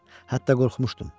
Hətta qorxmuşdum.